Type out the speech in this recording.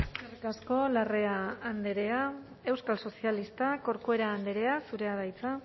eskerrik asko larrea andrea euskal sozialistak corcuera andrea zurea da hitza